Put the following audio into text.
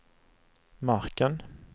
marken